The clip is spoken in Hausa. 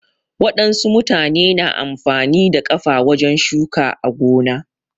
Wadansu mutane na amfani da kafa wajen shuka a gona